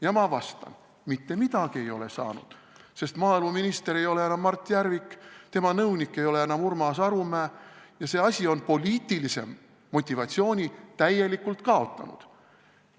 Ja ma vastan: mitte midagi ei ole saanud, sest maaeluminister ei ole enam Mart Järvik, tema nõunik ei ole enam Urmas Arumäe ja see asi on poliitilise motivatsiooni täielikult kaotanud.